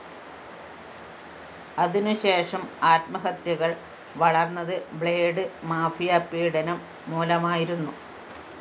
അതിനുശേഷം ആത്മഹത്യകള്‍ വളര്‍ന്നത്‌ ബ്ലേഡ്‌ മാഫിയ പീഡനം മൂലമായിരുന്നു